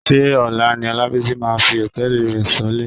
Ṣé ọ̀la ni Ọlábísí máa fi hòtẹ́ẹ̀lì rẹ sọlẹ̀?